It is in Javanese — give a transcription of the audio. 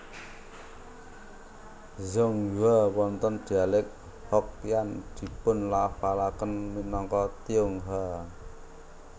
Zhonghua wonten dialek Hokkian dipunlafalaken minangka Tionghoa